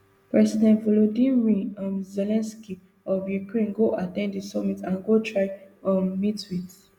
president volodymyr um zelensky of ukrainego at ten d di summit and go try um meet wit